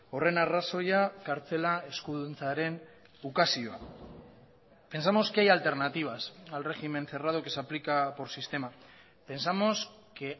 horren arrazoia kartzela eskuduntzaren ukazioa pensamos que hay alternativas al régimen cerrado que se aplica por sistema pensamos que